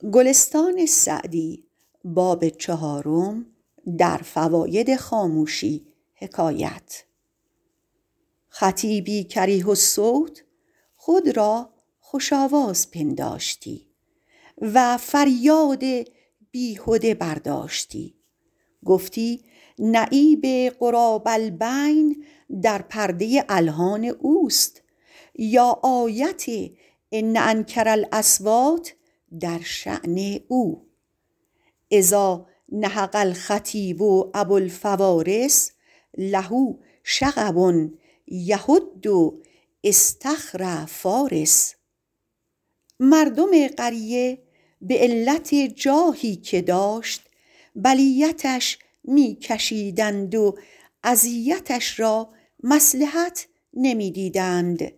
خطیبی کریه الصوت خود را خوش آواز پنداشتی و فریاد بیهده برداشتی گفتی نعیب غراب البین در پرده الحان اوست یا آیت ان انکر الاصوات در شأن او اذا نهق الخطیب ابوالفوارس له شغب یهد اصطخر فٰارس مردم قریه به علت جاهی که داشت بلیتش می کشیدند و اذیتش را مصلحت نمی دیدند